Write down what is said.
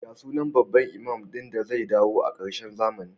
Ya sunan babban imam din da zai dawo a karshen zamani?